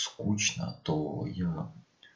скучно кто я